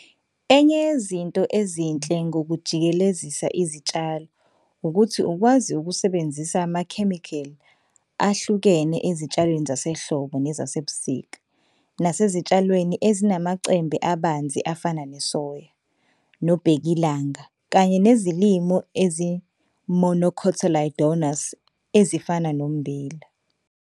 Enye yezinto ezinhle ngokujikelezisa izitshalo ukuthi ukwazi ukusebenzisa amakhemikhali ahlukene ezitshalweni zasehlobo nezasebusika, nasezitshalweni ezinamacembe abanzi afana nesoya, nobhekilanga, kanye nezilimo ezimonocotyledonous ezifana nommbila.